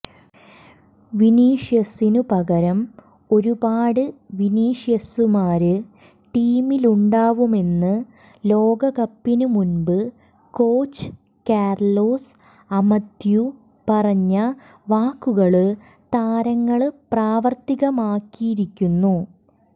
വിനീഷ്യസിന് പകരം ഒരുപാട് വിനീഷ്യസുമാര് ടീമിലുണ്ടാവുമെന്ന് ലോകകപ്പിന് മുമ്പ് കോച്ച് കാര്ലോസ് അമദ്യു പറഞ്ഞ വാക്കുകള് താരങ്ങള് പ്രാവര്ത്തികമാക്കിയിരിക്കുന്നു